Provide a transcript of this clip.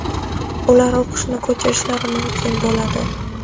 ular o‘qishni ko‘chirishlari mumkin bo‘ladi.